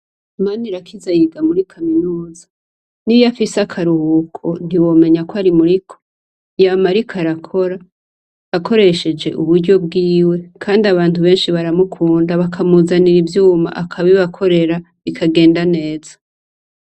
Manirakiza yiga muri kaminuza . Niyo afise akaruhuko, ntiwomenya ko ari muriko. Yama ariko arakora, akoresheje uburyo bwiwe, kandi abantu benshi baramukunda bakamuzanira ivyuma akabibakorera bikagenda neza.